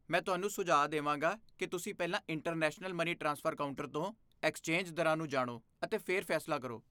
ਮੈਂ ਤੁਹਾਨੂੰ ਸੁਝਾਅ ਦੇਵਾਂਗਾ ਕਿ ਤੁਸੀਂ ਪਹਿਲਾਂ ਇੰਟਰਨੈਸ਼ਨਲ ਮਨੀ ਟ੍ਰਾਂਸਫਰ ਕਾਊਂਟਰ ਤੋਂ ਐਕਸਚੇਂਜ ਦਰਾਂ ਨੂੰ ਜਾਣੋ ਅਤੇ ਫਿਰ ਫੈਸਲਾ ਕਰੋ।